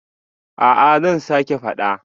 A'a zan sake fada